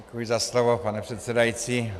Děkuji za slovo, pane předsedající.